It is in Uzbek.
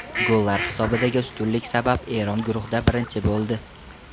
Gollar hisobidagi ustunlik sabab Eron guruhda birinchi bo‘ldi.